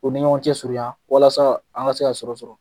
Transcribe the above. K'u ni ɲɔgɔn cɛ surunya walasa an ka se ka sɔrɔ sɔrɔ.